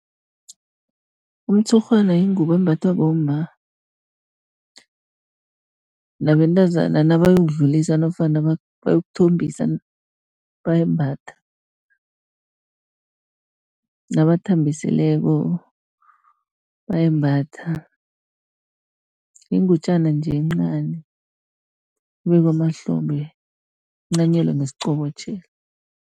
Umtshurhwana yingubo embathwa bomma nabentazana nabayokudlulisa, nofana bayokuthombisa bayayimbatha, nabathambisileko bayayimbatha. Yingutjana nje encani ebekwa emahlombe incanyelwe ngesiqobotjhelo.